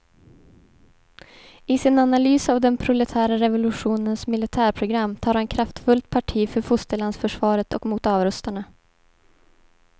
I sin analys av den proletära revolutionens militärprogram tar han kraftfullt parti för fosterlandsförsvaret och mot avrustarna.